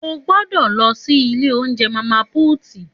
Ògbõdõ lõsí ìlé ounjé Mama puti